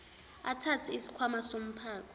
athathe isikhwama somphako